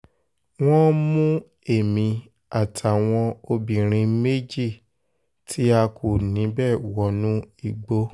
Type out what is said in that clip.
wọ́n mú mú èmi àtàwọn obìnrin méjì tí a kù níbẹ̀ wọnú igbó